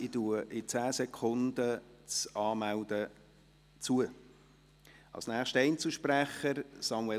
In 10 Sekunden schliesse ich die Rednerliste.